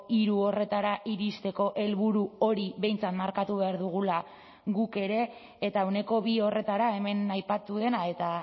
hiru horretara iristeko helburu hori behintzat markatu behar dugula guk ere eta ehuneko bi horretara hemen aipatu dena eta